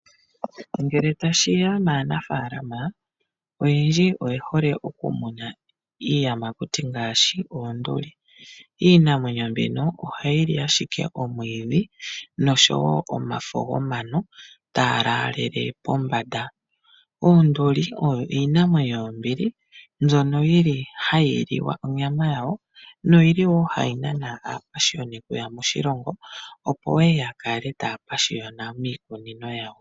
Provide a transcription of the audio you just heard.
Ngele tashiya maanafaalama, oyendji oyehole okumuna iiyamakuti ngaashi oonduli. Iinamwenyo mbino, ohayili ashike omwiidhi, noshowo omafo gomano, taa laalele pombanda. Oonduli oyo iinamwenyo yombili, mbyono yili hayi liwa onyama yawo, noyili wo hayi nana aapashiyoni kuya moshilongo, opo ye yakale taya pashiyona miikunino yawo.